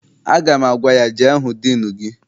Aga m agwa ya, jee hụ diinu gị!